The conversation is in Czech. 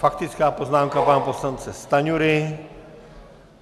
Faktická poznámka pana poslance Stanjury.